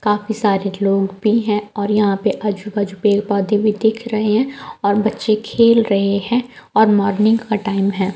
काफी सारे लोग भी है और यहां पे आजू-बाजू पेड़ पौधे भी दिख रहे हैं और बच्चे खेल रहे हैं और मॉर्निंग का टाइम है।